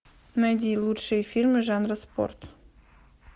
найди лучшие фильмы жанра спорт